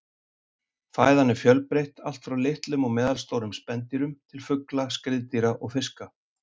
Fæðan er fjölbreytt, allt frá litlum og meðalstórum spendýrum til fugla, skriðdýra og fiska.